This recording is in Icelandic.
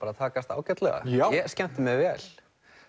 takast ágætlega ég skemmti mér vel